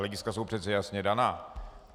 Hlediska jsou přece jasně daná.